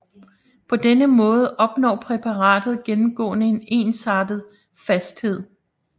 På denne måde opnår præparatet gennemgående en ensartet fasthed